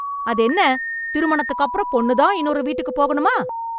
அது என்ன திருமணத்துக்கு அப்றோம் பொண்ணு தான் இன்னொரு விட்டுக்கு போகணுமா